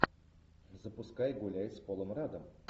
запускай гуляй с полом раддом